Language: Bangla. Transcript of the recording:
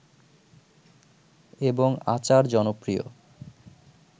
এবং আচার জনপ্রিয়